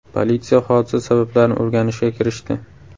Politsiya hodisa sabablarini o‘rganishga kirishdi.